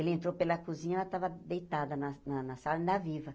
Ele entrou pela cozinha, ela tava deitada na na na sala, ainda viva.